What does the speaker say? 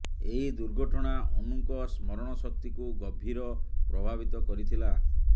ଏହି ଦୁର୍ଘଟଣା ଅନୁଙ୍କ ସ୍ମରଣ ଶକ୍ତିକୁ ଗଭୀର ପ୍ରଭାବିତ କରିଥିଲା